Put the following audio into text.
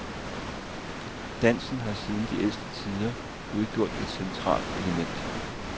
Dansen har siden de ældste tider udgjort et centralt element.